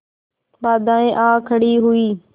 बाधाऍं आ खड़ी हुई